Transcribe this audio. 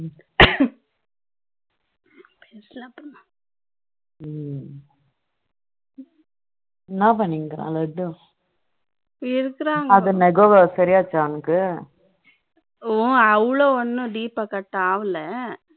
என்ன பண்ணிட்டு இருக்கிற லட்டு இருக்கிறாங்க அது நகம் சரி ஆயிடுச்சா அவனுக்கு அவ்வளவு ஒன்னும் deep cut ஆகல